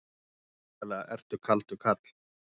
Svakalega ertu kaldur karl!